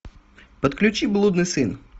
подключи блудный сын